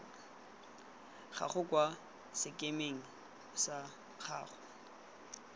gago kwa sekemeng sa gago